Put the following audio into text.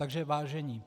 Takže vážení.